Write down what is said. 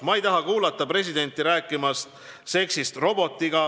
"Ma ei taha kuulda presidenti rääkimas seksist robotiga.